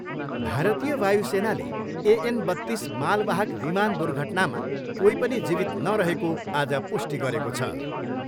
भारतीय वायुसेनाले एएन बत्तिस मालवाहक विमान दुर्घटनामा कोही पनि जीवित नरहेको आज पुष्टि गरेको छ।